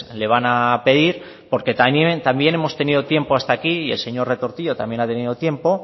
le van a pedir porque también hemos tenido tiempo hasta aquí el señor retortillo ha tenido tiempo